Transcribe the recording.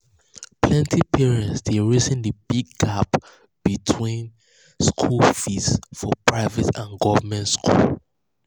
plenty parents dey reason the big the big gap between school fees for private and government school.